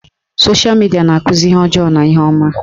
Sosha midia na-akụzi ihe ọjọọ ma ihe ọma